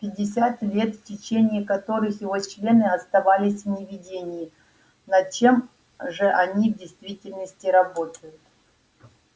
пятьдесят лет в течение которых его члены оставались в неведении над чем же они в действительности работают